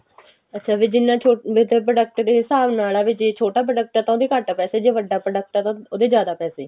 ਅੱਛਾ ਵੀ ਜਿੰਨਾ ਛੋਟਾ with product ਦੇ ਹਿਸਾਬ ਨਾਲ ਆ ਵੀ ਜੇ ਛੋਟਾ product ਆ ਤਾਂ ਉਹਦੇ ਘੱਟ ਪੈਸੇ ਜੇ ਵੱਡਾ product ਆ ਤਾਂ ਉਹਦੇ ਜ਼ਿਆਦਾ ਪੈਸੇ